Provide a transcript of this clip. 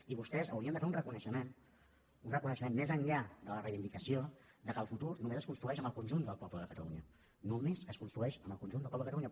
i vostès haurien de fer un reconeixement un reconeixement més enllà de la reivindicació de que el futur només es construeix amb el conjunt del poble de catalunya només es construeix amb el conjunt del poble de catalunya